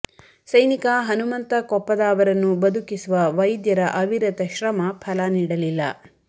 ಸೈನಿಕ ಹನುಮಂತ ಕೊಪ್ಪದ ಅವರನ್ನು ಬದುಕಿಸುವ ವೈದ್ಯರ ಅವಿರತ ಶ್ರಮ ಫಲ ನೀಡಲಿಲ್ಲ